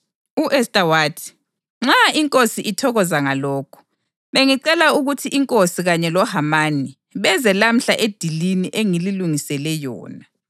U-Esta wathi, “Nxa inkosi ithokoza ngalokhu, bengicela ukuthi inkosi kanye loHamani beze lamhla edilini engililungisele yona.”